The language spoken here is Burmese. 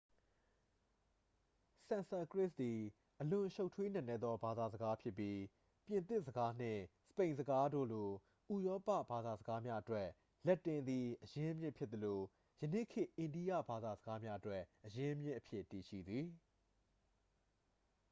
ဆန်စကရစ်သည် အလွန်ရှုပ်ထွေးနက်နဲသော ဘာသာစကားဖြစ်ပြီး ပြင်သစ်စကားနှင့် စပိန်စကားတို့လို ဥရောပဘာသာစကားများအတွက် လက်တင်သည် အရင်းအမြစ်ဖြစ်သလို ယနေ့ခေတ် အိန္ဒိယဘာသာစကားများအတွက် အရင်းအမြစ်အဖြစ် တည်ရှိသည်